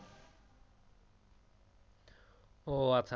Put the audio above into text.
ও আচ্ছা আচ্ছা